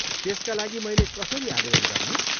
त्यसका लागि मैले कसरी आवेदन गर्ने?